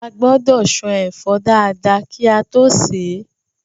A gbọ́dọ̀ ṣan ẹ̀fọ́ dáadáa kí a tó sè é